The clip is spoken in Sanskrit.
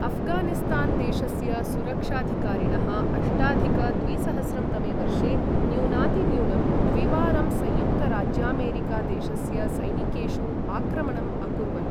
अफ्गानिस्तान् देशस्य सुरक्षाधिकारिणः अष्टाधिक द्विसहस्रं तमे वर्षे न्यूनातिन्यूनं द्विवारं संयुक्तराज्यामेरिका देशस्य सैनिकेषु आक्रमणम् अकुर्वन्।